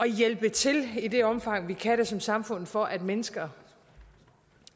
hjælpe til i det omfang vi kan det som samfund for at mennesker